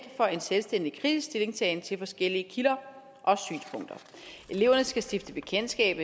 for en selvstændig kritisk stillingtagen til forskellige kilder og synspunkter eleverne skal stifte bekendtskab